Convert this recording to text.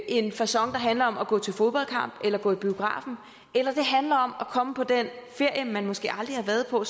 en facon der handler om at gå til fodboldkamp eller gå i biografen eller det handler om at komme på den ferie man måske aldrig har været på